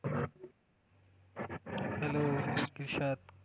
hello कसे आहात?